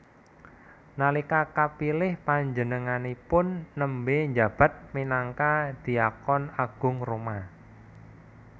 Nalika kapilih panjenenganipun nembé njabat minangka dhiakon agung Roma